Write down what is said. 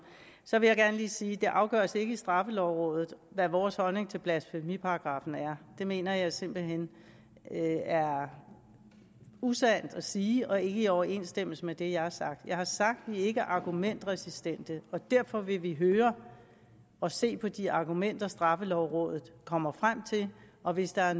så vil jeg gerne lige sige ikke afgøres i straffelovrådet hvad vores holdning til blasfemiparagraffen er det mener jeg simpelt hen er usandt at sige og ikke i overensstemmelse med det jeg har sagt jeg har sagt at vi ikke er argumentresistente og derfor vil vi høre og se på de argumenter straffelovrådet kommer frem til og hvis der er